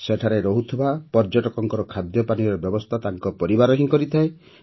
ସେଠାରେ ରହୁଥିବା ପର୍ଯ୍ୟଟକଙ୍କ ଖାଦ୍ୟପାନୀୟର ବ୍ୟବସ୍ଥା ତାଙ୍କ ପରିବାର ହିଁ କରିଥାଏ